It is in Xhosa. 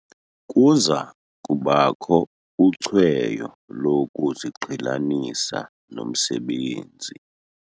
Kuza kubakho ucweyo lokuziqhelanisa nomsebenzi.